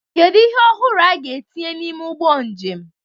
Kedu ihe ọhụrụ a ga-etinye n'ime ụgbọ njem?